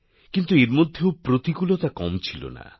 কিন্তু এর মধ্যেও প্রতিকূলতা কম ছিল না